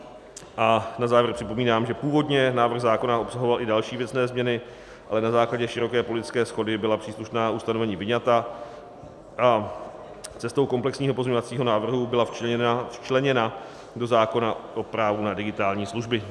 A na závěr připomínám, že původně návrh zákona obsahoval i další věcné změny, ale na základě široké politické shody byla příslušná ustanovení vyňata a cestou komplexního pozměňovacího návrhu byla včleněna do zákona o právu na digitální služby.